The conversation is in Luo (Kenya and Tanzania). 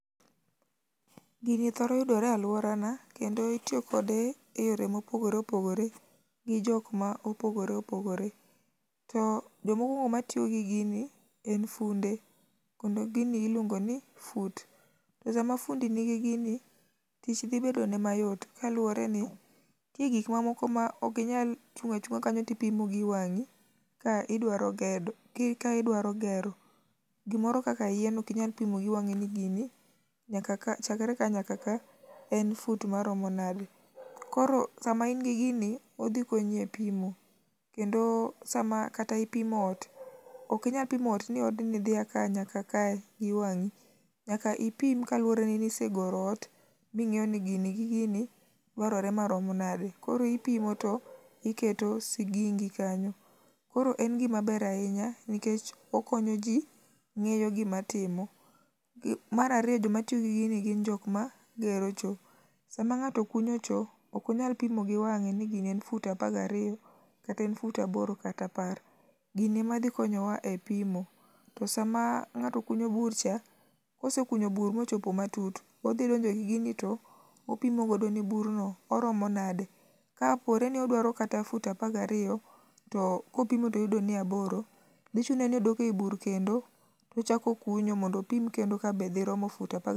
Gini thoro yudore e alworana kendo itiyo kode e yore mopogore opogore ji jok mopogore opogore. To jomo kwongo ma tiyo gi gini en funde kendo gini iluongo ni fut. To sama fundi nigi gini, tich dhi bedone mayot kaluwore ni nitie gik moko ma ok inyal chung' achung'a kanyo to ipimo gi wang'i ka idwaro gedo ki ka idwaro gero. Gimoro kaka yien ok inyal pimo gi wang'i ni gini nyaka ka chakre ka nyaka ka en fut maromo nade. Koro sama in gi gini, odhi konyi e pimo kendo sama kata ipimo ot, ok inyal pimo ni odni dhi a ka nyaka ka gi wang'i, nyaka ipim kaluwore ni nisegoro ot ming'eyo ni gini gi gini dwarore maromo nade. Koro ipimo to iketo sigingi kanyo. Koro en gima ber ahinya nikech okonyo ji ng'eyo gima timo. Gi mar ariyo jok matiyo gi gini gin jok ma gero cho, sama ng'ato kunyo cho ok onyal pimo gi wang'e ni gini en fut apar gariyo, kata en fut aboro kata apar, gini ema dhi konyowa e pimo. To sama ng'ato kunyo bur cha, kosekunyo bur mochopo matut, odhi donjo gi gini to opimo godo ni burno, oromo nade. Kapore ni odwaro kata fut apar gariyo, to kopimo toyudo ni aboro, dhi chune ni odok ei bur kendo tochak okunyo mondo opim kendo ka dhi romo fut apar ga.